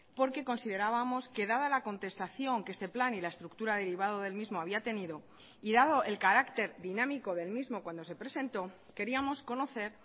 porque considerábamos que dada la contestación que este plan y la estructura derivado del mismo había tenido y dado el carácter dinámico del mismo cuando se presentó queríamos conocer